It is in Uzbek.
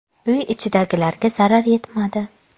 Uy ichidagilarga zarar yetmadi.